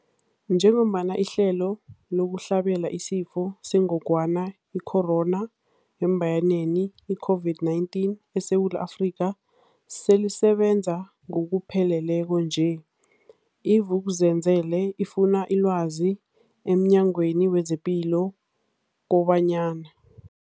Njengoba ihlelo lokuhlabela isiFo sengogwana i-Corona, i-COVID-19, eSewula Afrika selisebenza ngokupheleleko nje, i-Vuk'uzenzele ifune ilwazi emNyangweni wezePilo kobanyana.